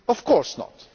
Of course not.